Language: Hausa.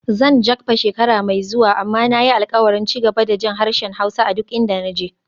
Zan Jakpa shekara mai zuwa, amma na yi alkawarin ci gaba da jin harshen Hausa a duk inda na je.